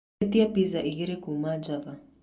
ĩtĩa pizza igĩrĩ kuuma Java